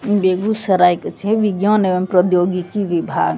बेगूसराय के छीये विज्ञान एवं प्रौद्योगिकी विभाग।